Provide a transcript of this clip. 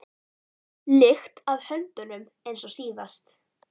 lykt af höndunum eins og síðast.